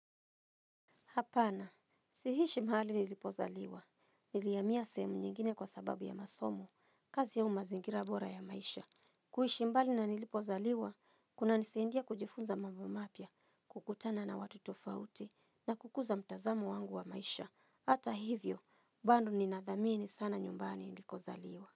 Hapana. Sihishi mahali nilipozaliwa. Nilihamiya sehemu nyingine kwa sababu ya masomo. Kazi au mazingira bora ya maisha. Kuhishi mbali na nilipozaliwa, kuna nisaindia kujifunza mambo mapya, kukutana na watu tofauti na kukuza mtazamo wangu wa maisha. Hata hivyo, bando ninadhamini sana nyumbani nilikozaliwa.